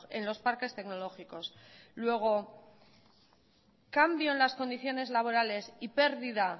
en los parques tecnológicos luego cambian las condiciones laborales y pérdida